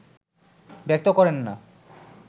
ব্যক্ত করেন না